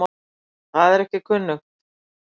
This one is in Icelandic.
Það er ekki kunnugt.